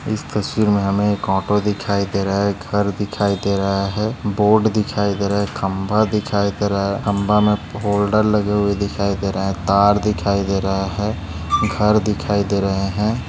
इस तस्वीर मे हमे एक ऑटो दिखाई दे रहे है एक घर दिखाई दे रहे है बोट दिखाई दे रहे है खंबा दिखाई दे रहे है खंबा मे होल्डर लगे हुए दिखाई दे रहा है तार दिखाई दे रहे है घर दिखाई दे रहे है।